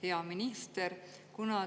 Hea minister!